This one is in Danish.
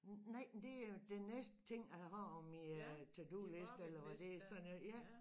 Nej men det er den næste ting jeg har på min to do-liste eller hvad det sådan noget ja